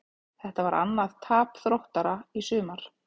Þetta var annað tap Þróttara í sumar.